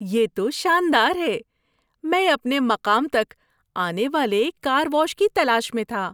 یہ تو شاندار ہے! میں اپنے مقام تک آنے والے کار واش کی تلاش میں تھا۔